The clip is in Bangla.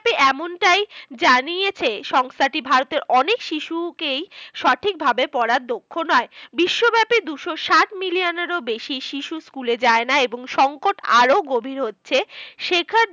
এমনটাই জানিয়েছে সংস্থাটি ভারতের অনেক শিশুকেই সঠিকভাবে পড়ার দক্ষ নয়। বিশ্বব্যাপী দুশো ষাট million এরও বেশি শিশু school এ যায়না। এবং সংকট আরো গভীর হচ্ছে। শেখার